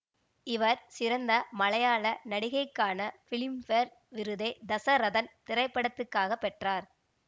இவர் சிறந்த மலையாள நடிகைக்கான பிலிம்பேர் விருதை தசரதன் திரைப்படத்துக்காக பெற்றார்